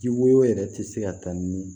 Ji woyo yɛrɛ ti se ka ta ni